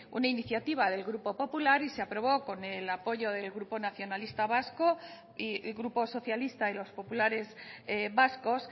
una iniciativa del grupo popular y se aprobó con el apoyo del grupo nacionalista vasco y el grupo socialista y los populares vascos